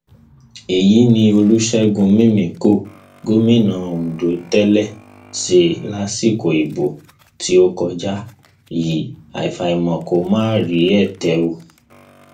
èyí tí olùṣègùn mìmìkọ gómìnà ondo tẹlẹ ṣe lásìkò ìbò tó kọjá yìí àfàìmọ kó má fi rí ète o